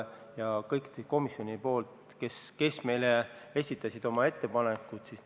Me tutvusime kõikide nende komisjonide ettepanekutega, kes meile ettepanekud esitasid.